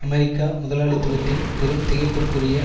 அமெரிக்க முதலாளித்துவத்தின் பெரும் திகைப்பிற்குரிய